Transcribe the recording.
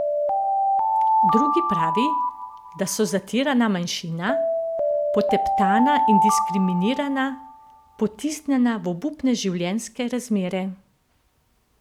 Drugi pravi, da so zatirana manjšina, poteptana in diskriminirana, potisnjena v obupne življenjske razmere.